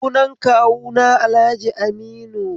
Sunan kawuna Alhaji Aminu